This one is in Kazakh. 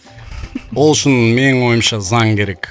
ол үшін менің ойымша заң керек